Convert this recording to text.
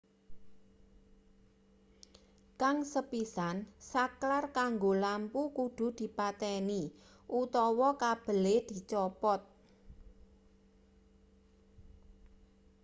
kang sepisan saklar kanggo lampu kudu dipateni utawa kabele dicopot